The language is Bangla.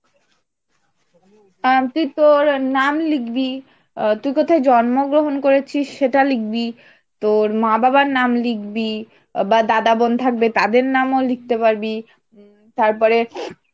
আহ তুই তর নাম লিখবি, আ তুই কোথায় জন্মগ্রহণ করেছিস সেটা লিখবি, তোর মা বাবার নাম লিখবি, বা দাদা বোন থাকবে তাদের নামও লিখতে পারবি, তারপরে